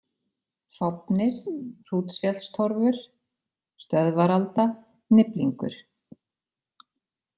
Fáfnir, Hrútsfjallstorfur, Stöðvaralda, Niflingur